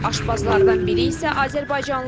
Aşbazlardan biri isə azərbaycanlıdır.